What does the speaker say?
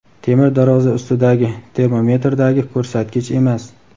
temir darvoza ustidagi termometrdagi ko‘rsatgich emas.